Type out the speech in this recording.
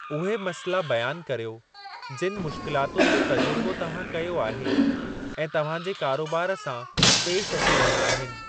उन्हनि मसइला बयानु कर्यो जिनि मुश्किलातुनि जो तजुर्बो तव्हां कयो आहे ऐं तव्हां जे कारोबार सां पेशि अची रहिया आहिनि।